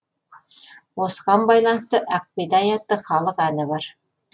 осыған байланысты ақ бидай атты халық әні бар